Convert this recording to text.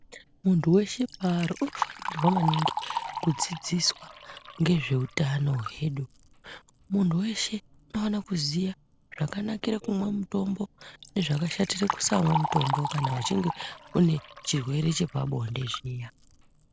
Muntu weshe paari unofanirwa maningi kudzidziswa ngezveutano hwedu. Muntu weshe unofanirwa kuziya zvakanakire kumwa kutombo ngezvakashatira kumwa mutombo kana uchinge uine chirwere chepabonde zviya.